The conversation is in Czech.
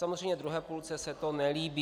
Samozřejmě druhé půlce se to nelíbí.